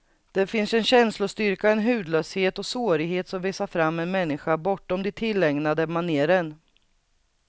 Där finns en känslostyrka, en hudlöshet och sårighet som visar fram en människa bortom de tillägnade manéren.